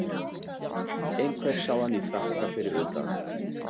Einhver sá hann í frakka fyrir utan